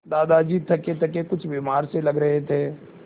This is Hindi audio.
दादाजी थकेथके कुछ बीमार से लग रहे थे